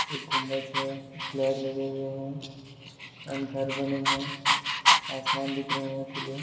एक गुम्बज है फ्लैग लगे हुए है एंड घर बने है आसमान दिख रहे है खुले।